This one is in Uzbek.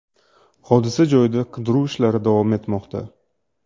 Hodisa joyida qidiruv ishlari davom etmoqda.